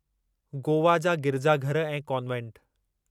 गोवा जा गिरजाघर ऐं कॉन्वेंट